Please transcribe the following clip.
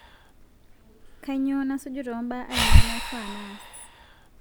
kainyoo nasuju too mbaa ainei naifaa naas